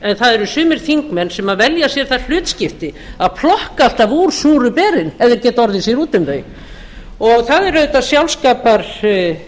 en það eru sumir þingmenn sem velja sér það hlutskipti að flokka alltaf úr súru berin ef þeir geta orðið sér úti um þau það er auðvitað sjálfskaparvíti